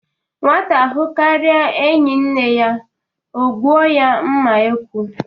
Nwata hụkaria enyi nne ya o gbụo ya mma ekwu